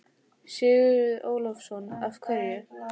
Sigurður Ingólfsson: Af hverju?